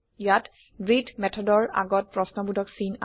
ইয়াত ব্ৰেটহে মেথডৰ আগত প্ৰশ্ন বোধক চিন